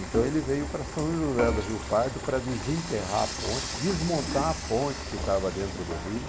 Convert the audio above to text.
Então ele veio para São José do Rio Pardo para desenterrar a ponte, desmontar a ponte que estava dentro do rio.